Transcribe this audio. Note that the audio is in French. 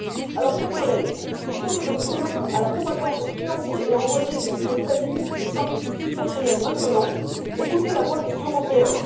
Alors, chers collègues, plutôt que de vous soumettre à la propagande financée et envoyée depuis les États Unis, qui nous frappe depuis plusieurs semaines maintenant, écoutez la voix des Européens.